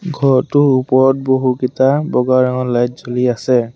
ঘৰটো ওপৰত বহুকিটা বগা ৰঙৰ লাইট জ্বলি আছে।